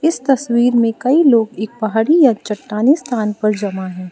इस तस्वीर में कई लोग एक पहाड़ी या चट्टानी स्थान पर जमा हैं।